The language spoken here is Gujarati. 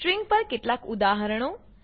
સ્ટ્રિંગ પર કેટલાક ઉદાહરણો